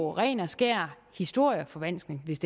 ren og skær historieforvanskning hvis